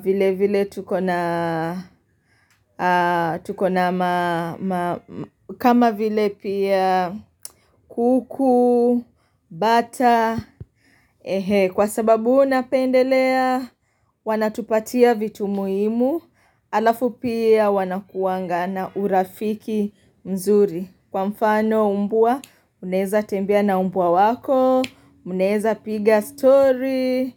vile vile tuko na kama vile pia kuku, bata. Kwa sababu unapendelea, wanatupatia vitu muhimu Alafu pia wanakuanga na urafiki mzuri Kwa mfano umbwa, mnaweza temeia na umbwa wako mnaeza piga story.